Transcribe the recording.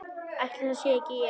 Ætli það sé ekki ég.